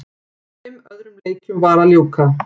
Fimm öðrum leikjum var að ljúka